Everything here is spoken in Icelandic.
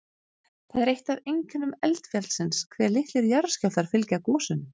Það er eitt af einkennum eldfjallsins hve litlir jarðskjálftar fylgja gosunum.